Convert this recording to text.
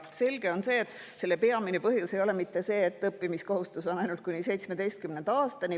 Selge on see, et selle peamine põhjus ei ole see, et õppimiskohustus on ainult kuni 17. aastani.